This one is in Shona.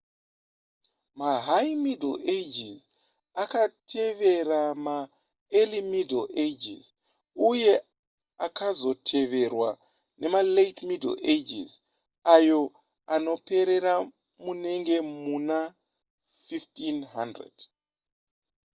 mahigh middle ages akatevera maearly middle ages uye akazoteverwa nemalate middle ages ayo anoperera munenge muna 1500